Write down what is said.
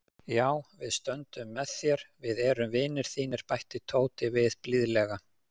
Já, við stöndum með þér, við erum vinir þínir bætti Tóti við blíðlega.